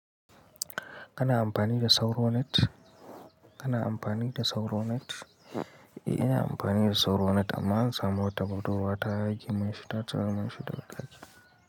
Kana amfani da Sauronet? Kana amfani da Sauronet? Eh, ina amfani da Sauronet amma ansamu wata budurwa ta yage man shi, ta cire manshi daga daki.